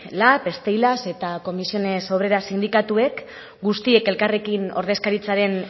lab steilas eta comisiones obreras sindikatuek guztiek elkarrekin ordezkaritzaren